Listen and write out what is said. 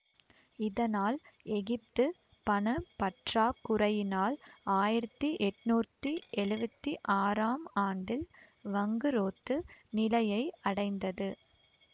இதனால் எகிப்து பண பற்றாக்குறையினால் ஆயிரத்தி எட்ணூத்தி எழுவத்தி ஆறாம் ஆண்டில் வங்குரோத்து நிலையை அடைந்தது